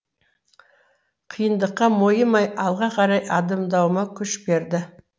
қиындыққа мойымай алға қарай адымдауыма күш берді